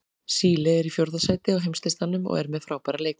Síle er í fjórða sæti á heimslistanum og er með frábæra leikmenn.